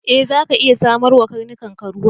E, zaka iya samar wa karnukanka ruwa.